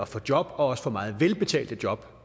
få job og også få meget velbetalte job